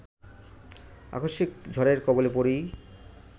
আকস্মিক ঝড়ের কবলে পড়েই